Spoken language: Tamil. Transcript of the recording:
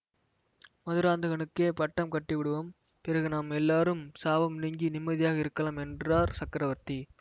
மதுராந்தகனுக்கே பட்டம் கட்டிவிடுவோம் பிறகு நாம் எல்லாரும் சாபம் நீங்கி நிம்மதியாக இருக்கலாம் என்றார் சக்கரவர்த்தி